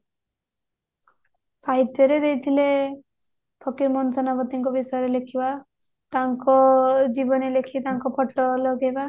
ସାହିତ୍ୟରେ ଦେଇଥିଲେ ଫକିର ମୋହନ ସେନାପତିଙ୍କ ବିଷୟରେ ଲେଖିବା ତାଙ୍କ ଜୀବନୀ ଲେଖି ତାଙ୍କ photo ଲଗେଇବା